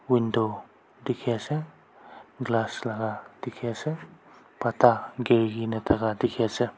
Window dekhi ase glass laga dekhi ase pata giri kena thaka dekhi ase.